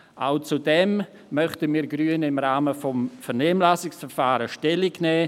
Auch dazu möchten wir Grünen im Rahmen des Vernehmlassungsverfahrens Stellung nehmen.